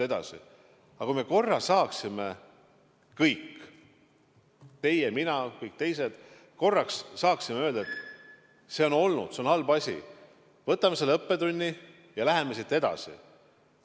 Aga kui me korraks saaksime kõik – teie, mina, kõik teised – öelda, et see on olnud, see on halb asi, arvestame seda õppetundi ja läheme edasi!